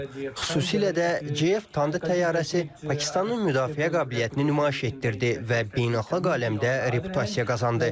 Xüsusilə də JF Thunder təyyarəsi Pakistanın müdafiə qabiliyyətini nümayiş etdirdi və beynəlxalq aləmdə reputasiya qazandı.